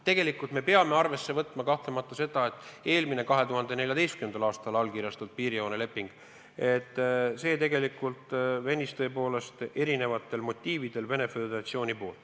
Tegelikult me peame arvesse võtma kahtlemata seda, et 2014. aastal allkirjastatud piirijooneleping venis erinevatel motiividel Venemaa Föderatsiooni soovil.